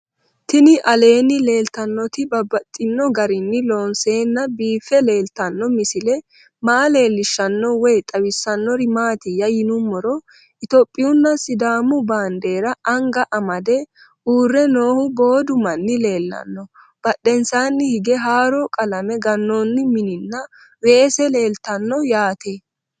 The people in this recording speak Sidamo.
Tinni aleenni leelittannotti babaxxittinno garinni loonseenna biiffe leelittanno misile maa leelishshanno woy xawisannori maattiya yinummoro ithiopiyunna sidaamu baandeerra anga amade uure noohu boodu maanni leelanno badheennsaanni hige haaru qalame ganoonni minninna weesse leelittanno yaatte